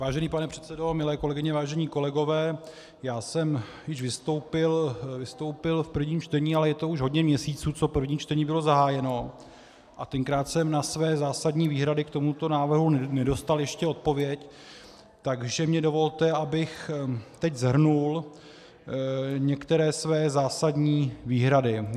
Vážený pane předsedo, milé kolegyně, vážení kolegové, já jsem již vystoupil v prvním čtení, ale je to už hodně měsíců, co první čtení bylo zahájeno, a tenkrát jsem na své zásadní výhrady k tomuto návrhu nedostal ještě odpověď, takže mi dovolte, abych teď shrnul některé své zásadní výhrady.